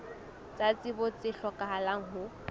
tsa tsebo tse hlokahalang ho